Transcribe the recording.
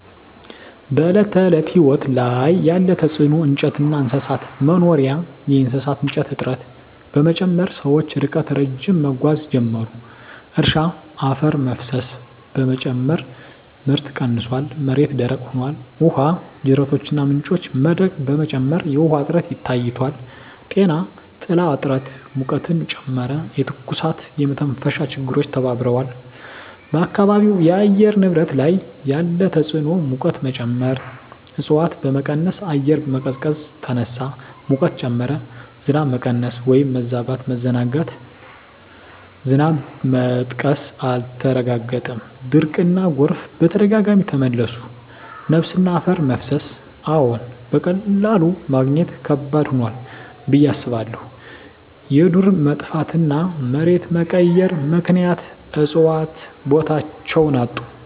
በዕለት ተዕለት ሕይወት ላይ ያለ ተጽዕኖ እንጨትና እንስሳት መኖሪያ የእሳት እንጨት እጥረት በመጨመር ሰዎች ርቀት ረዥም መጓዝ ጀመሩ። እርሻ አፈር መፍሰስ በመጨመር ምርት ቀንሷል፣ መሬት ደረቅ ሆኗል። ውሃ ጅረቶችና ምንጮች መድረቅ በመጨመር የውሃ እጥረት ታይቷል። ጤና ጥላ እጥረት ሙቀትን ጨመረ፣ የትኩሳትና የመተንፈሻ ችግሮች ተባብረዋል። በአካባቢው የአየር ንብረት ላይ ያለ ተጽዕኖ ሙቀት መጨመር እፅዋት በመቀነስ አየር መቀዝቀዝ ተነሳ፣ ሙቀት ጨመረ። ዝናብ መቀነስ/መበዛት መዘናጋት ዝናብ መጥቀስ አልተረጋገጠም፣ ድርቅና ጎርፍ በተደጋጋሚ ተመለሱ። ነፋስና አፈር መፍሰስ አዎን፣ በቀላሉ ማግኘት ከባድ ሆኗል ብዬ አስባለሁ። የዱር መጥፋትና መሬት መቀየር ምክንያት እፅዋት ቦታቸውን አጡ።